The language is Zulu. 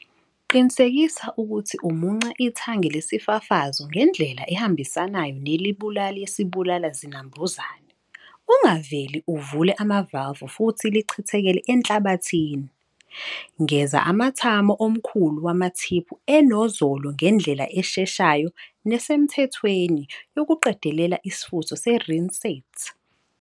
Qinisekisa ukuthi umunca ithange lesifafazo ngendlela ehambisanayo nelebuli yesibulala zinambuzane. Ungaveli uvule amavalvu futhi lichethekele enhlabathini. Ngeza amthamo omkhulu wamathiphu enozolo ngendlela esheshayo nesemthethweni yokuqedela isifutho se-rinsate.